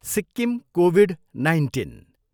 Sikkim Covid nineteen.